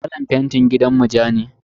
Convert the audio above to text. Kalan fentin gidanmu ja ne.